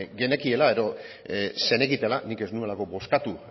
genekiela edo zenekitela nik ez nuelako bozkatu